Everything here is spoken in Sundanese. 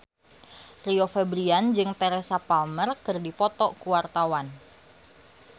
Rio Febrian jeung Teresa Palmer keur dipoto ku wartawan